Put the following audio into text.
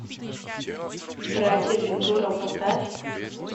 братья вентура поставь